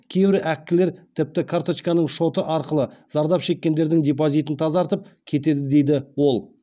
кейбір әккілер тіпті карточканың шоты арқылы зардап шеккендердің депозитін тазартып кетеді дейді ол